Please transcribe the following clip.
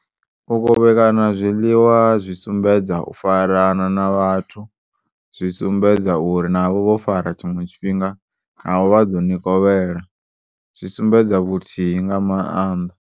U kovhelana zwiḽiwa zwi sumbedza ufarana na vhathu, zwi sumbedza uri navho vhofara tshiṅwe tshifhinga, navho vhaḓoni kovhela, zwi sumbedza vhuthihi ngamaanḓa.